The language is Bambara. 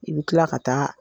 I bɛ tila ka taa